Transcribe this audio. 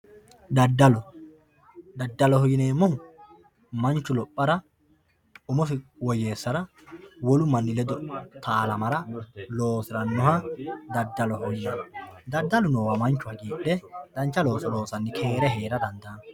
daddalo daddaloho yineemmohu manchu lophara umosi woyyeessara wolu manni ledo taalamara loosirannoha daddaloho yineemmo daddalu noowa manchu hagiidhe dancha looso loosanni keere heera dandaanno.